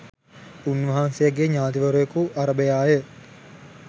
උන්වහන්සේගේ ඥාතිවරයකු අරභයාය.